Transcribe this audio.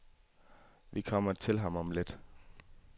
Vi kommer til ham om lidt.